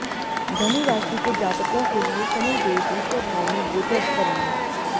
धनु राशि के जातको के लिए शनिदेव दूसरे भाव में गोचर करेंगे